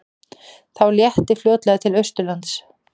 Þó léttir fljótlega til austanlands